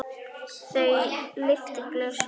Þau lyftu glösum.